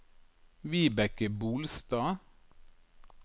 Vibeke Bolstad